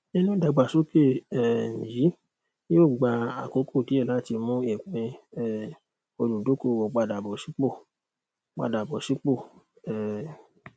nínú ìdàgbàsókè um yìí yóò gba àkókò díẹ láti mú ìpín um olùdókòwò padà bọ sípò padà bọ sípò um